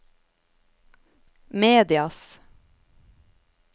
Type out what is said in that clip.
medias